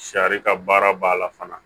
Sari ka baara b'a la fana